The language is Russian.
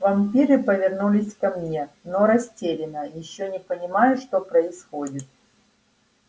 вампиры повернулись ко мне но растерянно ещё не понимая что происходит